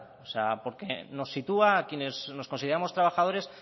porque nos sitúa a quienes nos consideramos trabajadores